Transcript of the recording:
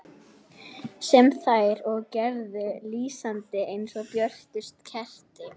Sem þær og gerðu, lýsandi eins og björtust kerti.